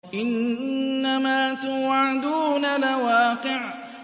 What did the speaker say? إِنَّمَا تُوعَدُونَ لَوَاقِعٌ